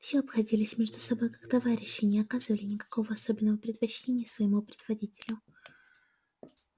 все обходились между собою как товарищи и не оказывали никакого особенного предпочтения своему предводителю